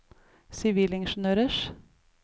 sivilingeniørers